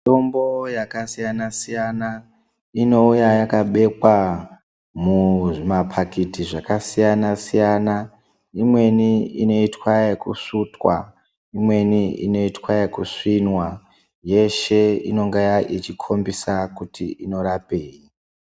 Mitombo yakasiyana-siyana inouya yakabekwa muzvimapakiti zvakasiyana-siyana. Imweni inoitwa ekusvutwa, imweni inoitaekusvinwa. Yeshe inonga ichikhombisa kuti inorape.